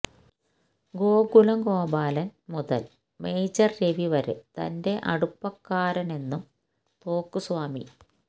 ഗോകുലം ഗോപാലൻ മുതൽ മേജർ രവി വരെ തന്റെ അടുപ്പക്കാരനെന്നും തോക്കു സ്വാമി